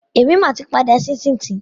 Èmi mà ti pa adíẹ sínsìn tì.